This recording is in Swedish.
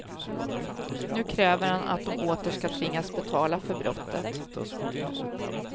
Nu kräver han att de åter ska tvingas betala för brottet.